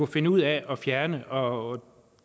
finde ud af at fjerne og